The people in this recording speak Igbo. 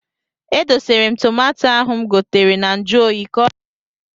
E dosara m tomato ahụ m gotere na nju oyi ka ọ ghara imebi.